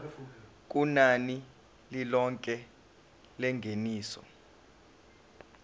kunani lilonke lengeniso